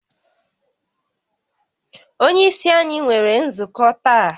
Onye isi anyi nwere nzukọ taa